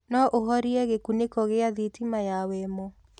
no ũhorĩe gikuniko gia thitima ya wemo